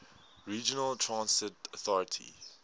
regional transit authority